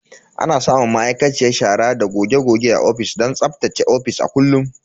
Ana samun ma'aikaciyar shara da goge goge a ofis don tsaftace ofis a kullum.